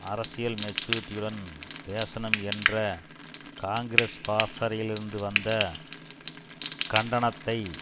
அரசியல் மெச்சூரிட்டியுடன் பேசணும் என்ற காங்கிரஸ் பாசறையிலிருந்து வந்த கண்டனத்தை